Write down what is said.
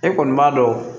E kɔni b'a dɔn